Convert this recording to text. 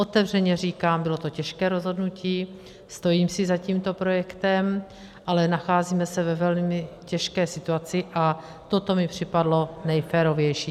Otevřeně říkám, bylo to těžké rozhodnutí, stojím si za tímto projektem, ale nacházíme se ve velmi těžké situaci a toto mi připadlo nejférovější.